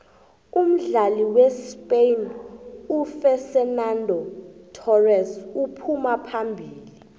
umdlali wespain ufexenando thorese uphuma phambili